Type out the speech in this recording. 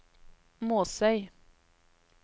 Måsøy